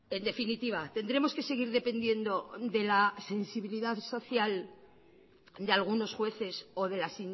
en definitiva tendremos que seguir dependiendo de la sensibilidad social de algunos jueces o de las